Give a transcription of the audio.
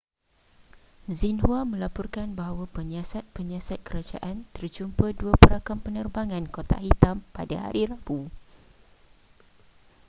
xinhua melaporkan bahwa penyiasat-penyiasat kerajaan terjumpa dua perakam penerbangan kotak hitam pada hari rabu